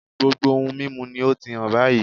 Gbogbo ohun mímu ni ó ti hán báyìí